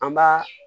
An b'a